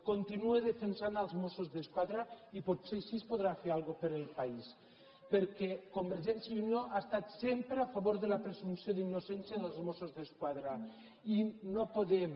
continue defensant els mossos d’esquadra i potser així podrà fer alguna cosa per al país perquè convergència i unió ha estat sempre a favor de la presumpció d’innocència dels mossos d’esquadra i no podem